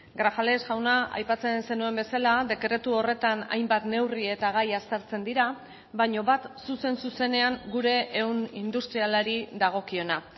grajales jauna aipatzen zenuen bezala dekretu horretan hainbat neurri eta gai aztertzen dira baina bat zuzen zuzenean gure ehun industrialari dagokiona